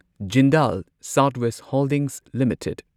Jindal south west holdings limited